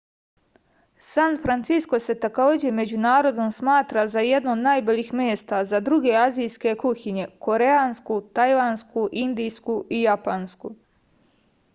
san francisko se takođe među narodom smatra za jedno od najboljih mesta za druge azijske kuhinje koreansku tajvansku indijsku i japansku